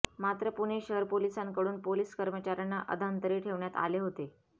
मात्र पुणे शहर पोलिसांकडून पोलीस कर्मचाऱ्यांना अधांतरी ठेवण्यात आले होते